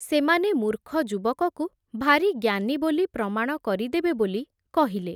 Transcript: ସେମାନେ ମୂର୍ଖ ଯୁବକକୁ ଭାରି ଜ୍ଞାନୀ ବୋଲି ପ୍ରମାଣ କରିଦେବେ ବୋଲି କହିଲେ ।